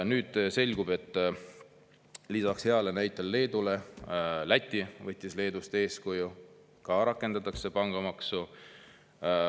Nüüd selgub, et lisaks heale näitele Leedule, võttis ka Läti Leedust eeskuju, ka seal rakendatakse pangamaksu.